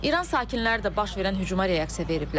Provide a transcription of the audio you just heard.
İran sakinləri də baş verən hücuma reaksiya veriblər.